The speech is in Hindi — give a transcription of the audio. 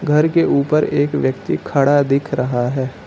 घर के ऊपर एक व्यक्ति खड़ा दिख रहा है।